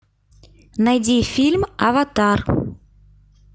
найди фильм аватар